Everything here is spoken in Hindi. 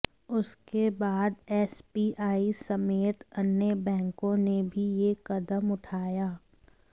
उसके बाद एसबीआई समेत अन्य बैंकों ने भी यह कदम उठाया